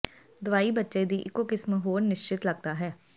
ਦਵਾਈ ਬੱਚੇ ਦੀ ਇੱਕੋ ਕਿਸਮ ਹੋਰ ਨਿਸਚਿੰਤ ਲੱਗਦਾ ਹੈ